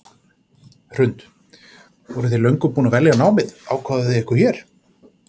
Hrund: Voruð þið löngu búin að velja námið, ákváðuð þið ykkur hér?